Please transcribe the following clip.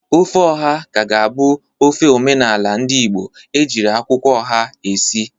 Ofe oha ka ga-abụ ofe omenala ndị Igbo ejiri akwụkwọ oha esi.